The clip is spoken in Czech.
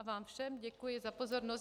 A vám všem děkuji za pozornost.